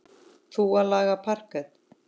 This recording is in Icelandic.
Þú að leggja parket.